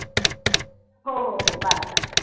हो हो हो bye bye